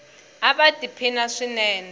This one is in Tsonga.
ava ti phina swinene